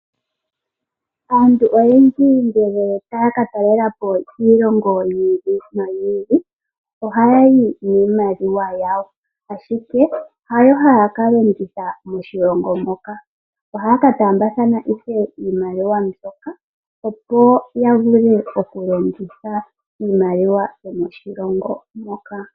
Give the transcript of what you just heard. Aantu oyendji ngele taya katalelapo kiilongo yiili noyi ili ohayayi niimaliwa yawo, ashike hayo hayakalongitha moshilongo moka, ohayaka taambathana ihe iimaliwa mbyoka opo yavule okulongitha iimaliwa yomoshilongo moka.